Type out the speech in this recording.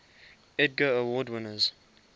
edgar award winners